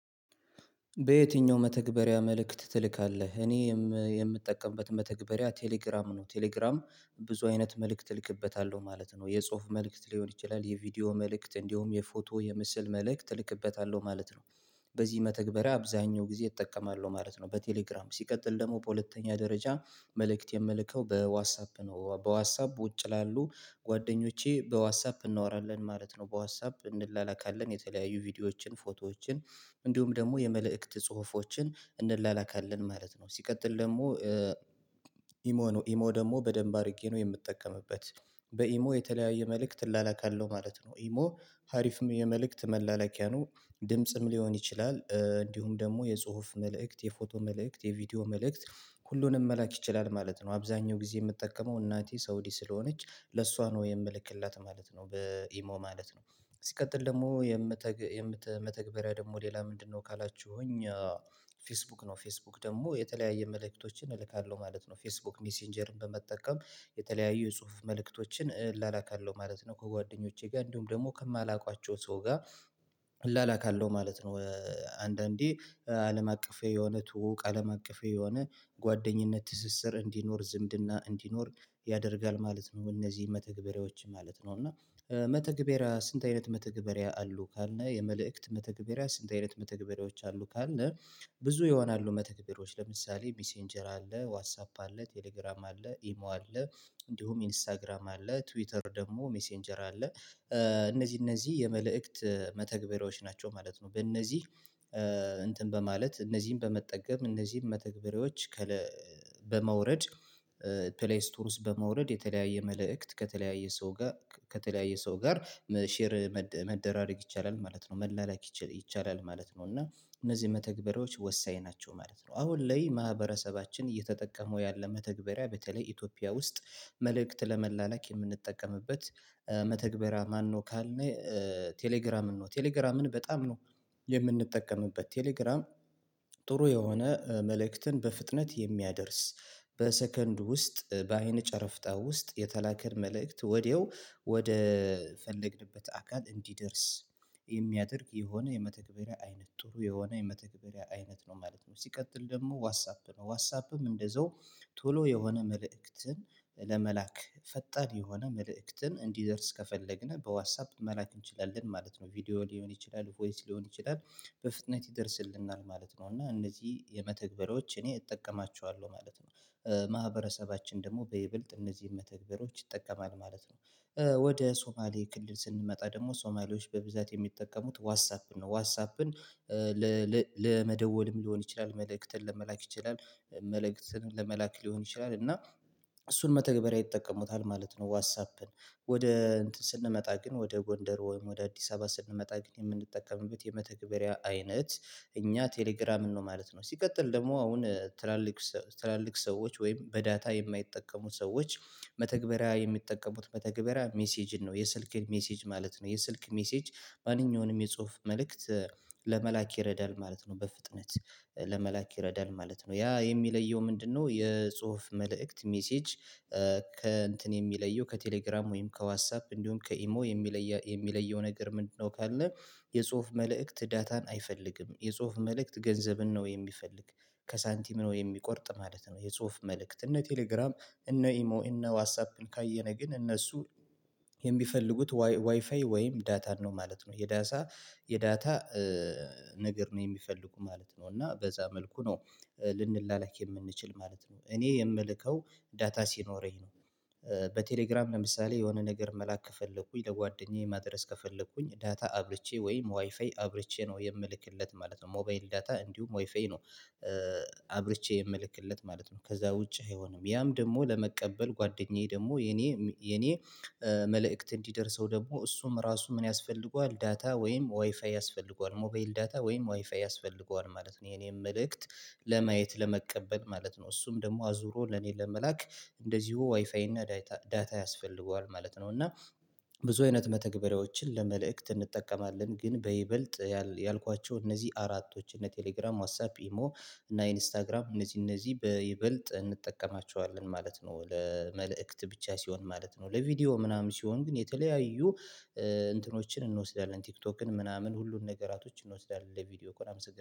በየትኛው መተግበሪያ መልእክት ትልካለህ እኔ የምጠቀምበት መተግበሪያ ቴሌግራም ነው? ቴሌግራም ብዙ አይነት መልእክት እልክበታለሁ ማለት ነው የጽሁፍ መልእክት ሊሆን ይችላል የቪዲዮ መልእክት እንዲሁም የፎቶ የምስል መልእክት እልክበታለሁ ማለት ነው። በዚህ መተግበሪያ አብዛኛው ጊዜ እጠቀማለሁ ማለት ነው። በቴሌግራም ሲቀጥል ደግሞ በሁለተኛ ደረጃ መልእክት የምልከው በዋትሳፕ ነው በዋትሳፕ ውጭ ላሉ ጓደኞቼ በዋትሳፕ እናወራለን ማለት ነው በዋትሳፕ እንላላካለን የተለያዩ ቪዲዮዎችን ፎቶዎችን እንዲሁም ደግሞ የመልእክት ጽሁፎችን እንላላካለን ማለት ነው። ሲቀጥል ደግሞ ኢሞ ነው ኢሞ ደግሞ በደንብ አድርጌ ነው የምጠቀምበት በኢሞ የተለያየ መልእክት እላላካለሁ ማለት ነው ኢሞ ሀሪፍም የመልእክት መላላኪያ ነው። ድምጽም ሊሆን ይችላል እንዲሁም ደግሞ የጽሁፍ መልእክት የፎቶ መልእክት የቪዲዮ መልእክት ሁሉንም መላክ ይችላል ማለት ነው። አብዛኛው ጊዜ የምትጠቀመው እናቴ ሳውዲ ስለሆነች ለሷ ነው የምልክላት ማለት ነው በኢሞ ማለት ነው። ሲቀጥል ደግሞ መተግበሪያ ደግሞ ሌላ ምንድነው ካላችሁኝ ፌስቡክ ነው። ፌስቡክ ደግሞ የተለያየ መልእክቶችን እልካለሁ ማለት ነው ፌስቡክ ሜሴንጀርን በመጠቀም የተለያዩ የጽሁፍ መልእክቶችን እላላካለሁ ማለት ነው። ከጓደኞቼ ጋር እንዲሁም ደግሞ ከማላውቋቸው ሰው ጋር እላላክ አለው ማለት ነው። አንዳንዴ አለም አቀፍ የሆነ ትውውቅ አለም አቀፍ የሆነ ጓደኝነት ትስስር እንዲኖር ዝምድና እንዲኖር ያደርጋል ማለት ነው። እነዚህ መተግበሪያዎች ማለት ነው እና መተግበሪያ ስንት አይነት መተግበሪያ አሉ ካልነ የመልእክት መተግበሪያ ስንት አይነት መተግበሪያዎች አሉ ካልነ? ብዙ ይሆናሉ መተግበሪያዎች ለምሳሌ ሚሴንጀር አለ ዋትሳፕ አለ ቴሌግራም አለ ኢሞ አለ እንዲሁም ኢንስታግራም አለ ትዊተር ደግሞ ሜሴንጀር አለ እነዚህ እነዚህ የመልእክት መተግበሪያዎች ናቸው ማለት ነው። በእነዚህ እንትን በማለት እነዚህን በመጠቀም እነዚህን መተግበሪያዎች በማውረድ ፕሌይ ስቶር ውስጥ በማውረድ የተለያየ መልእክት ከተለያየ ሰው ጋር ከተለያየ ሰው ጋር ሼር መደራረግ ይቻላል ማለት ነው መላላክ ይቻላል ማለት ነው። እና እነዚህ መተግበሪያዎች ወሳኝ ናቸው ማለት ነው። አሁን ላይ ማህበረሰባችን እየተጠቀሙ ያለ መተግበሪያ በተለይ ኢትዮጵያ ውስጥ መልእክት ለመላላክ የምንጠቀምበት መተግበሪያ ማነው ካልን? ቴሌግራምን ነው ቴሌግራምን በጣም ነው የምንጠቀምበት ቴሌግራም ጥሩ የሆነ መልእክትን በፍጥነት የሚያደርስ በሰከንድ ውስጥ በአይነ ጨረፍታ ውስጥ የተላከው መልእክት ወዲያው ወደ ፈለግንበት አካል እንዲደርስ የሚያደርግ የሆነ የመተግበሪያ አይነት ጥሩ የሆነ የመተግበሪያ አይነት ነው ማለት ነው። ሲቀጥል ደግሞ ዋትሳፕ ነው ዋትሳፕም እንደዛው ቶሎ የሆነ መልእክትን ፈጣን የሆነ መልእክትን እንዲደርስ ከፈለግን በዋትሳፕ መላክ እንችላለን ማለት ነው። ቪዲዮ ሊሆን ይችላል ቮይስ ሊሆን ይችላል በፍጥነት ይደርስልናል ማለት ነው። እና እነዚህ የመተግበሮች እኔ እጠቀማቸዋለሁ ማለት ነው ማህበረሰባችን ደግሞ በይበልጥ እነዚህን መተግበሪያችን ይጠቀማል ማለት ነው። ወደ ሶማሌ ክልል ስንመጣ ደግሞ ሶማሌዎች በብዛት የሚጠቀሙት ዋትሳፕን ነው ዋትሳፕን ለመደወልም ሊሆን ይችላል መልእክትን ለመላክ ይችላል መልእክትን ለመላክ ሊሆን ይችላል እና እሱን መተግበሪያ ይጠቀሙታል ማለት ነው። ዋትሳፕን ወደ ስንመጣ ግን ወደ ጎንደር ወይም ወደ አዲስ አበባ ስንመጣ ግን የምንጠቀምበት የመተግበሪያ አይነት እኛ ቴሌግራምን ነው ማለት ነው። ሲቀጥል ደግሞ አሁን ትላልቅ ሰዎች ወይም በዳታ የማይጠቀሙ ሰዎች መተግበሪያ የሚጠቀሙት መተግበሪያ ሜሴጅን ነው የሰልክ ሜሴጅ ማለት ነው። የስልክ ሜሴጅ ማንኛውንም የጽሁፍ መልእክት ለመላክ ይረዳል ማለት ነው በፍጥነት ለመላክ ይረዳል ማለት ነው። ያ የሚለየው ምንድነው? የጽሁፍ መልእክት ሜሴጅ ከእንትን የሚለየው ከቴሌግራም ወይም ከዋትሳፕ እንዲሁም ከኢሞ የሚለየው ነገር ምንድነው? ካለ የጽሁፍ መልእክት ዳታን አይፈልግም የጽሁፍ መልእክት ገንዘብን ነው የሚፈልግ ከሳንቲም ነው የሚቆርጥ ማለት ነው። የጽሁፍ መልእክት እነ ቴሌግራም እነ ኢሞ እነ ዋሳት ካየነ ግን እነሱ የሚፈልጉት ዋይፋይ ወይም ዳታን ነው ማለት ነው። የዳታ የዳታ ነገር ነው የሚፈልጉ ማለት ነው እና በዛ መልኩ ነው ልንላላክ የምንችል ማለት ነው። እኔ የምልከው ዳታ ሲኖረኝ ነው በቴሌግራም ለምሳሌ የሆነ ነገር መላክ ከፈለኩኝ ለጓደኛዬ ማድረስ ከፈለኩኝ ዳታ አብርቼ ወይም ዋይፋይ አብርቼ ነው የምልክለት ማለት ነው። ሞባይል ዳታ እንዲሁም ዋይፋይ ነው አብርቼ የምልክለት ማለት ነው። ከዛ ውጪ አይሆንም። ያም ደግሞ ለመቀበል ጓደኛዬ ደግሞ የኔ የኔ መልእክት እንዲደርሰው ደግሞ እሱም ራሱ ምን ያስፈልገዋል ዳታ ወይም ዋይፋይ ያስፈልገዋል ሞባይል ዳታ ወይም ዋይፋይ ያስፈልገዋል ማለት ነው። የኔም መልእክት ለማየት ለመቀበል ማለት ነው። እሱም ደግሞ አዙሮ ለኔ ለመላክ እንደዚሁ ዋይፋይ እና ዳታ ያስፈልገዋል ማለት ነው። እና ብዙ አይነት መተግበሪያዎችን ለመልእክት እንጠቀማለን ግን በይበልጥ ያልኳቸው እነዚህ አራቶች እነ ቴሌግራም ዋትሳፕ ኢሞ እና ኢንስታግራም እነዚህ እነዚህ በይበልጥ እንጠቀማቸዋለን ማለት ነው ለመልእክት ብቻ ሲሆን ማለት ነው። ለቪዲዮ ምናምን ሲሆን ግን የተለያዩ እንትኖችን እንወስዳለን ቲክቶክን ምናምን ሁሉን ነገራቶችን እንወስዳለን ለቪዲዮ ከሆነ አመሰግናለሁ